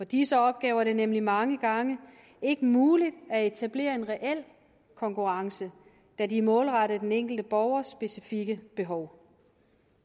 disse opgaver er det nemlig mange gange ikke muligt at etablere en reel konkurrence da de er målrettet den enkelte borgers specifikke behov